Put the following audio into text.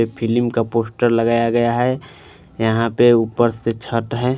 Filling का poster लगाया गया है यहाँ पर ऊपर से छत है।